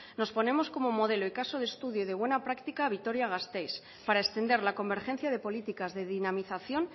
nos ponemos como modelo el caso de estudio y de buena práctica vitoria gasteiz para extender la convergencia de políticas de dinamización